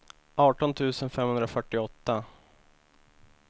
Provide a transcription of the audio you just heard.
arton tusen femhundrafyrtioåtta